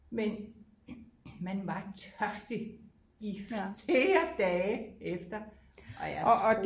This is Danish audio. Men man var tørstig i flere dage efter og jeg tror